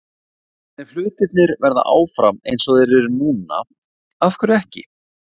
En ef hlutirnir verða áfram eins og þeir eru núna- af hverju ekki?